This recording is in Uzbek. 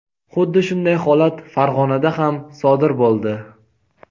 Huddi shunday holat Farg‘onada ham sodir bo‘ldi.